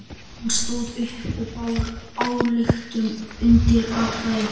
Hann stóð upp og bar ályktun undir atkvæði.